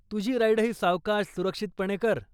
तुझी राईडही सावकाश सुरक्षितपणे कर.